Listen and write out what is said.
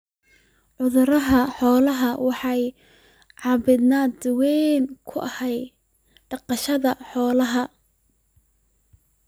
Cudurada xooluhu waxay caqabad weyn ku yihiin dhaqashada xoolaha.